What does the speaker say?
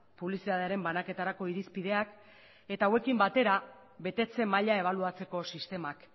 publizitatearen banaketarako irizpideak eta hauekin batera betetze maila ebaluatzeko sistemak